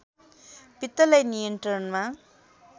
पित्तलाई नियन्त्रणमा